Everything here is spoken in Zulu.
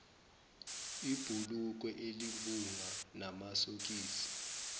ibhulukwe elimpunga namasokisi